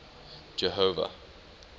jehova